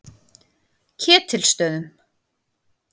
Ketilsstöðum